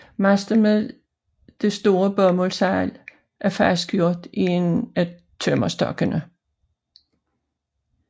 Masten med det store bomuldssejl er fastgjort i en af tømmerstokkene